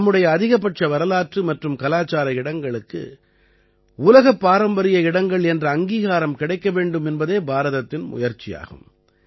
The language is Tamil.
நம்முடைய அதிகபட்ச வரலாற்று மற்றும் கலாச்சார இடங்களுக்கு உலகப் பாரம்பரிய இடங்கள் என்ற அங்கீகாரம் கிடைக்க வேண்டும் என்பதே பாரதத்தின் முயற்சியாகும்